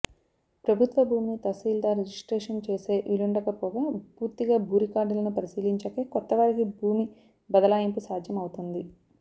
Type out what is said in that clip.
ప్రభుత్వ భూమిని తహసీల్దార్ రిజిస్ట్రేషన్ చేసే వీలుండకపోగా పూర్తిగా భూరికార్డులను పరిశీలించాకే కొత్తవారికి భూమి బదలాయింపు సాధ్యం అవుతోంది